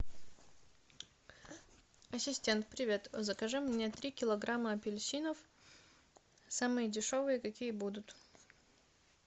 ассистент привет закажи мне три килограмма апельсинов самые дешевые какие будут